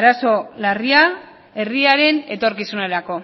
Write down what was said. arazo larria herriaren etorkizunerako